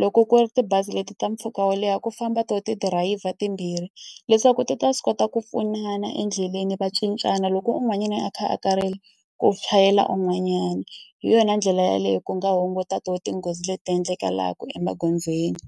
loko ku ri tibazi leti ta mpfhuka wo leha ku famba tona tidirayivha timbirhi leswaku ti ta swi kota ku pfunana endleleni. Va cincana loko un'wanyani a kha a karhele, ku chayela un'wanyana. Hi yona ndlela yaleyo ku nga hunguta tona tinghozi leti ti endlekaka emagondzweni.